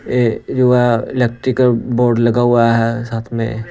ए युवा electrical board लगा हुआ है साथ में--